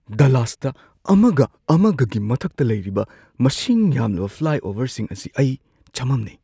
ꯗꯂꯥꯁꯇ ꯑꯃꯒ-ꯑꯃꯒꯒꯤ ꯃꯊꯛꯇ ꯂꯩꯔꯤꯕ ꯃꯁꯤꯡ ꯌꯥꯝꯂꯕ ꯐ꯭ꯂꯥꯏꯑꯣꯚꯔꯁꯤꯡ ꯑꯁꯤ ꯑꯩ ꯆꯃꯝꯅꯩ꯫